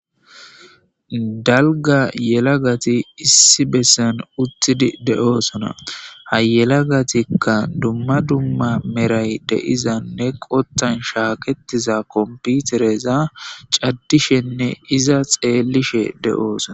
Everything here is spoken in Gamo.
dalga yelagati issi bessan uttidi de7oosona hayelagatikka dumma dumma meray deizanne qottan shaaketiza komputereza caddishenne iza xeellishe de7oosona